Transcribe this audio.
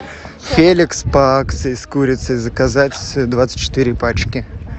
феликс по акции с курицей заказать двадцать четыре пачки